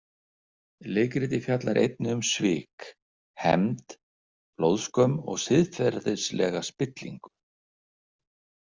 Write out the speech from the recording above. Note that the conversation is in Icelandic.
Leikritið fjallar einnig um svik, hefnd, blóðskömm og siðferðilega spillingu.